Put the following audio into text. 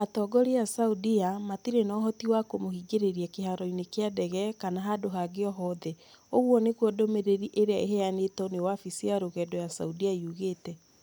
Atongoria a Saudia matirĩ na ũhoti wa kũmũhingĩrĩria kĩharo-inĩ kĩa ndege kana handũ hangĩ o hothe", ũguo nĩguo ndũmĩrĩri ĩrĩa ĩheanĩtwo nĩ wabici ya rũgendo ya Saudia yugĩte.